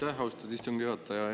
Aitäh, austatud istungi juhataja!